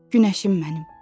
Günəşim mənim.